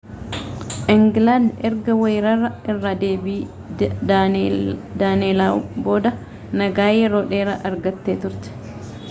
ingilaandi erga weerara irra deebii daaneelaw booda nagaa yeroo dheeraa argattee turte